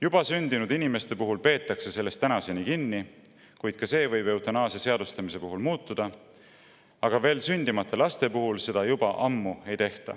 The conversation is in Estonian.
Juba sündinud inimeste puhul peetakse sellest kinni – ent ka see võib eutanaasia seadustamise puhul muutuda –, aga veel sündimata laste puhul ei tehta seda juba ammu.